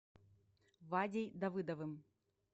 вадей давыдовым